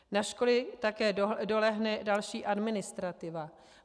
Na školy také dolehne další administrativa.